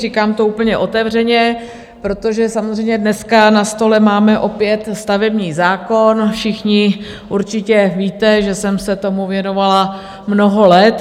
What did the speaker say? Říkám to úplně otevřeně, protože samozřejmě dneska na stole máme opět stavební zákon - všichni určitě víte, že jsem se tomu věnovala mnoho let.